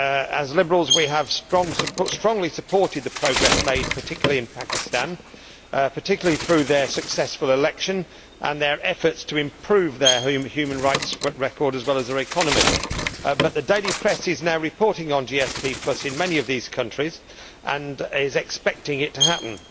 As Liberals we have strongly supported the progress made, particularly in Pakistan, particularly through their successful election and their efforts to improve their human rights record as well as their economy, but the daily press is now reporting on GSP in many of these countries and is expecting it to happen.